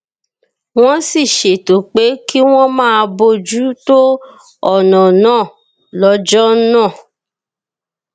wón sì ṣètò pé kí wón máa bójú tó ònà náà lójó náà